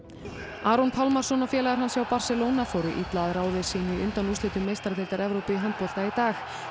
Aron Pálmarsson og félagar hans hjá Barcelona fóru illa að ráði sínu í undanúrslitum meistaradeildar Evrópu í handbolta í dag